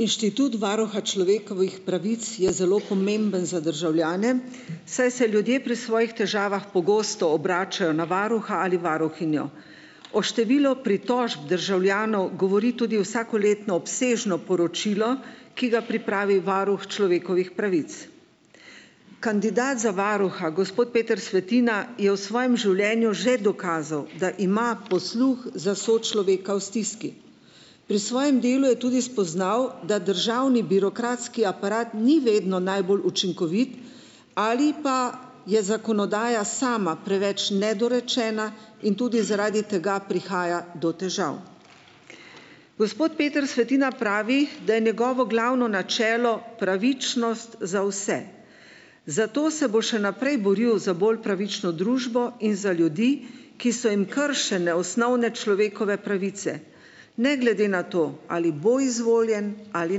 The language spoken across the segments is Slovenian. Inštitut varuha človekovih pravic je zelo pomemben za državljane, saj se ljudje pri svojih težavah pogosto obračajo na varuha ali varuhinjo, o številu pritožb državljanov govori tudi vsakoletno obsežno poročilo, ki ga pripravi varuh človekovih pravic. Kandidat za varuha, gospod Peter Svetina je v svojem življenju že dokazal, da ima posluh za sočloveka v stiski. Pri svojem delu je tudi spoznal, da državni birokratski aparat ni vedno najbolj učinkovit ali pa je zakonodaja sama preveč nedorečena in tudi zaradi tega prihaja do težav. Gospod Peter Svetina pravi, da je njegovo glavno načelo pravičnost za vse. Zato se bo še naprej boril za bolj pravično družbo in za ljudi, ki so jim kršene osnovne človekove pravice. Ne glede na to, ali bo izvoljen ali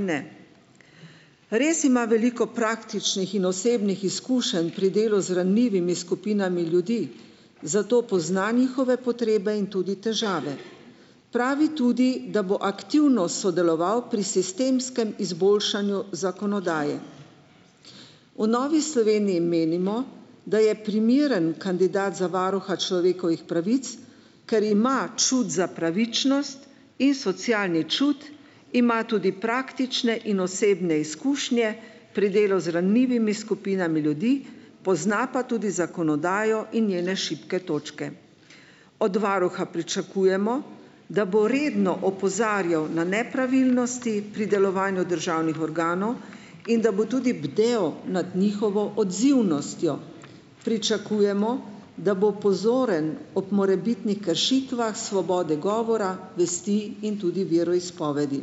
ne. Res ima veliko praktičnih in osebnih izkušenj pri delu z ranljivimi skupinami ljudi, zato pozna njihove potrebe in tudi težave, pravi tudi, da bo aktivno sodeloval pri sistemskem izboljšanju zakonodaje. V Novi Sloveniji menimo, da je primeren kandidat za varuha človekovih pravic, ker ima čut za pravičnost in socialni čut, ima tudi praktične in osebne izkušnje pri delu z ranljivimi skupinami ljudi, pozna pa tudi zakonodajo in njene šibke točke. Od varuha pričakujemo, da bo redno opozarjal na nepravilnosti pri delovanju državnih organov in da bo tudi bdel nad njihovo odzivnostjo. Pričakujemo, da bo pozoren ob morebitnih kršitvah svobode govora, vesti in tudi veroizpovedi.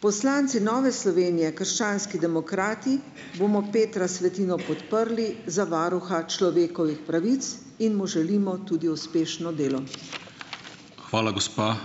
Poslanci Nove Slovenije, krščanski demokrati, bomo Petra Svetino podprli za varuha človekovih pravic in mu želimo tudi uspešno delo. Hvala, gospa.